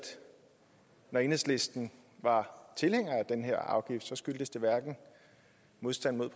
når enhedslisten var tilhænger af den her afgift skyldtes det hverken modstand mod